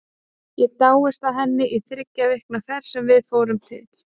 Ég dáðist að henni í þriggja vikna ferð sem við fórum til